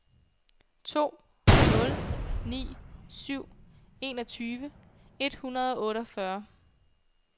to nul ni syv enogtyve et hundrede og otteogfyrre